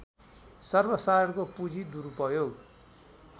सर्वसाधारणको पुँजी दुरूपयोग